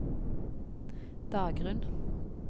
Dagrunn